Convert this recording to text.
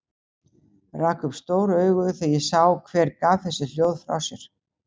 Rak upp stór augu þegar ég sá hver gaf þessi hljóð frá sér.